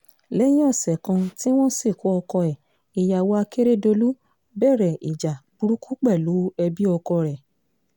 lẹ́yìn ọ̀sẹ̀ kan tí wọ́n sìnkú ọkọ ẹ̀ ìyàwó àkèrèdọ́lù bẹ̀rẹ̀ ìjà burúkú pẹ̀lú ẹbí ọkọ rẹ̀